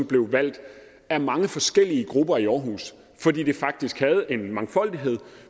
blev valgt af mange forskellige grupper i aarhus fordi det faktisk havde en mangfoldighed